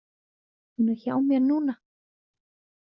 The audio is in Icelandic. Hún er hjá mér núna.